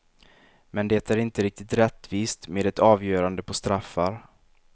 Men det är inte riktigt rättvist med ett avgörande på straffar.